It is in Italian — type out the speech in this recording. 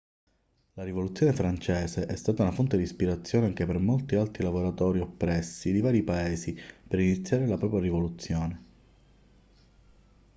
la rivoluzione francese è stata una fonte di ispirazione anche per molti altri lavoratori oppressi di vari paesi per iniziare la propria rivoluzione